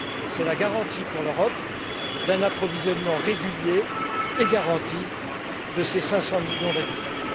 C'est la garantie, pour l'Europe, d'un approvisionnement régulier et garanti de ses 500 millions d'habitants.